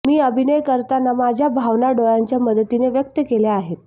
मी अभिनय करताना माझ्या भावना डोळ्यांच्या मदतीनं व्यक्त केल्या आहेत